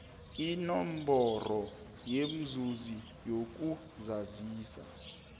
nenomboro yomzuzi yokuzazisa